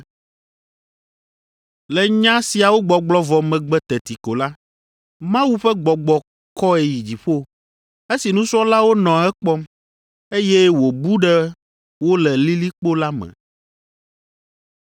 Le nya siawo gbɔgblɔ vɔ megbe teti ko la, Mawu ƒe gbɔgbɔ kɔe yi dziƒo, esi nusrɔ̃lawo nɔ ekpɔm, eye wòbu ɖe wo le lilikpo la me.